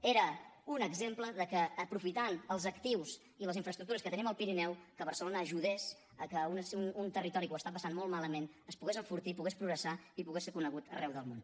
era un exemple que aprofitant els actius i les infraestructures que tenim al pirineu barcelona ajudés a que un territori que ho està passant molt malament es pogués enfortir pogués progressar i pogués ser conegut arreu del món